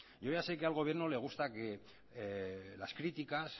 yo ya sé que al gobierno le gusta que las críticas